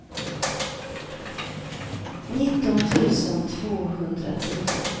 nitton tusen tvåhundratio